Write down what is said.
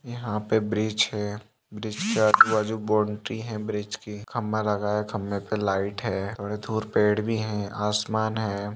यहाँ पे ब्रिज है ब्रिज का पूरा जो बाउंड्री हैं ब्रिज की खम्बा लगा है खम्बे पे लाइट है थोड़ी थूर पेड़ भी है आसमान है।